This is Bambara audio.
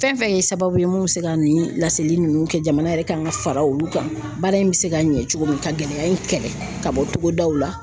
Fɛn fɛn ye sababu ye mun bɛ se ka nin laseli in nunnu kɛ jamana yɛrɛ kan ka fara olu kan, baara in bɛ se ka ɲɛ cogo min ka gɛlɛya in kɛlɛ ka bɔ togodaw la;